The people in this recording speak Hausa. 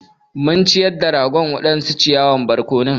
Mun ciyar da ragon waɗansu ciyawan barkono.